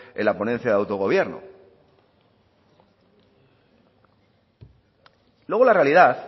en la ponencia de autogobierno luego la realidad